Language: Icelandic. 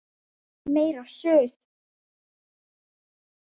Meira Suð!